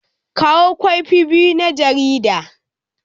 Kawo kwafi biyu na jaridar.